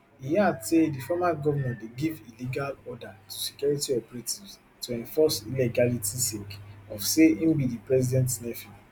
e add say di former govnor dey give illegal order to security operatives to enforce illegality sake of say im be di president nephew